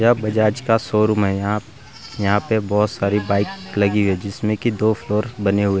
बजाज का शोरूम है। यहां पे बहुत सारे बाइक लगी हुई है जिसमें की दो फ्लोर बने हुए --